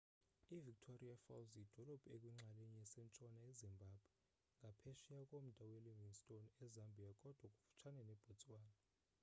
i-victoria falls yidolophu ekwinxalenye esentshona ezimbabwe ngaphesheya komda welivingstone ezambia kodwa kufutshane nebotswana